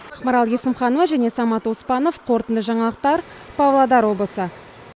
ақмарал есімханова және самат оспанов қорытынды жаңалықтар павлодар облысы